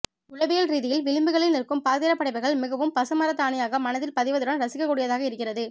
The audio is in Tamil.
உளவியல் ரீதியில் விளிம்புகளில் நிற்கும் பாத்திரப்படைப்புகள் மிகவும் பசுமரத்தாணியாக மனதில் பதிவதுடன் இரசிக்கக்கூடியதாக இருக்கிறது